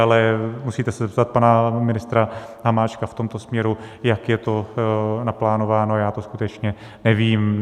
Ale musíte se zeptat pana ministra Hamáčka v tomto směru, jak je to naplánováno, já to skutečně nevím.